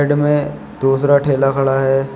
बगल में दूसरा ठेला खड़ा है।